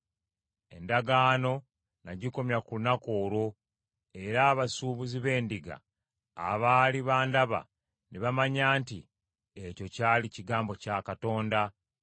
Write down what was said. Endagaano n’agikomya ku lunaku olwo era abasuubuzi b’endiga abaali bandaba ne bamanya nti ekyo kyali kigambo kya Katonda.